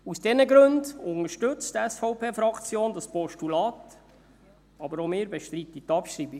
Aus diesen Gründen unterstützt die SVP-Fraktion das Postulat, aber auch wir bestreiten die Abschreibung.